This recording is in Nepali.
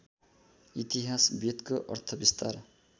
इतिहास वेदको अर्थविस्तार